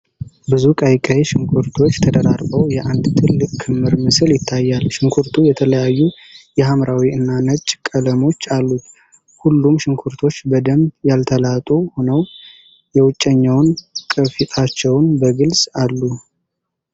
ብዙ ቀይ ቀይ ሽንኩርቶች ተደራርበው የአንድ ትልቅ ክምር ምስል ይታያል። ሽንኩርቱ የተለያዩ የሐምራዊ እና ነጭ ቀለሞች አሉት። ሁሉም ሽንኩርቶች በደንብ ያልተላጡ ሆነው የውጨኛውን ቅርፊታቸውን በግልጽ አሉ።